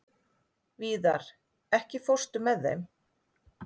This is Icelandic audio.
Víðar, ekki fórstu með þeim?